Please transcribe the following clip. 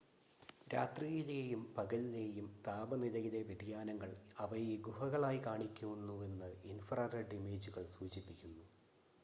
രാത്രിയിലെയും പകലിലെയും താപനിലയിലെ വ്യതിയാനങ്ങൾ അവയെ ഗുഹകളായി കാണിക്കുന്നുവെന്ന് ഇൻഫ്രാ റെഡ് ഇമേജുകൾ സൂചിപ്പിക്കുന്നു